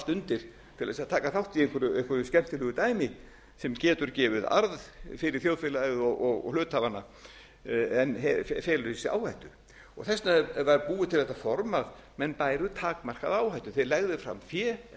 undir til þess að taka þátt í einhverju skemmtilegu dæmi sem getur gefið arð fyrir þjóðfélagið og hluthafana en felur í sér áhættu þess vegna var búið til þetta form að menn bæru takmarkaða áhættu þeir legðu fram fé eða